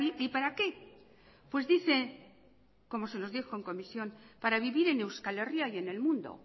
y para qué pues dice como se nos dijo en comisión para vivir en euskal herria y en el mundo